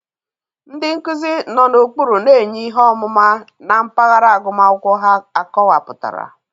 Ndị nkuzi nọ n'okpuru na-enye ihe ọmụma na mpaghara agụmakwụkwọ ha akọwapụtara.